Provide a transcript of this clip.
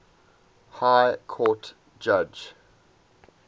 high court judge